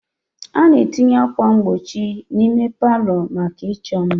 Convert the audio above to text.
A na-etinye ákwà mgbochi n'ime palọ maka ịchọ mma.